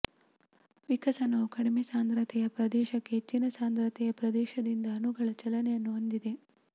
ವಿಕಸನವು ಕಡಿಮೆ ಸಾಂದ್ರತೆಯ ಪ್ರದೇಶಕ್ಕೆ ಹೆಚ್ಚಿನ ಸಾಂದ್ರತೆಯ ಪ್ರದೇಶದಿಂದ ಅಣುಗಳ ಚಲನೆಯನ್ನು ಹೊಂದಿದೆ